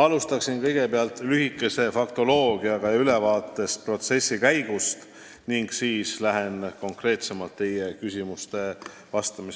Alustaksin faktoloogiaga, andes ülevaate protsessi käigust, ning siis lähen teie konkreetse küsimuste